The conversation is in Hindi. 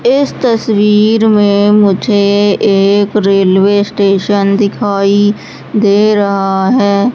इस तस्वीर में मुझे एक रेलवे स्टेशन दिखाई दे रहा है।